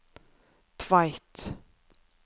Tveit